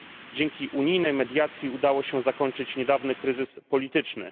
Dzięki unijnej mediacji udało się zakończyć niedawny kryzys polityczny.